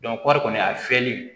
kɔri kɔni a fiyɛli